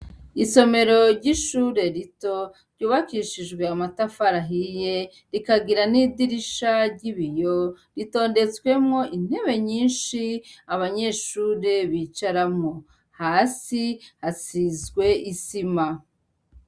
Isomero ry'ishure rito ryubakishijwe amatafari ahiye, rikagira n'idirisha ry'ibiyo, ritondetswemwo intebe nyinshi, abanyeshure bicaramwo ; hasi hasizwe isima.